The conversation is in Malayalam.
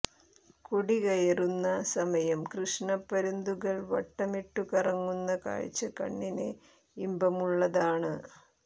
കൊടികയറുന്ന സമയം കൃഷ്ണ പരുന്തുകൾ വട്ടമിട്ടു കറങ്ങുന്ന കാഴ്ച കണ്ണിന് ഇന്പമുള്ളതാണ്